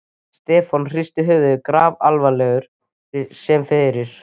Stefán hristi höfuðið, grafalvarlegur sem fyrr.